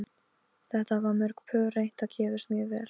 Þetta hafa mörg pör reynt og gefist mjög vel.